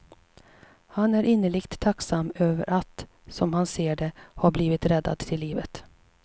Han är innerligt tacksam över att, som han ser det, ha blivit räddad till livet.